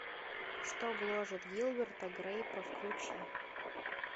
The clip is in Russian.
что гложет гилберта грейпа включи